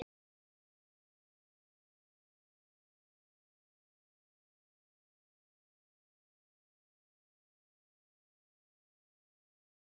Sé hvernig blóðdropinn rennur til og breiðir sig yfir mig.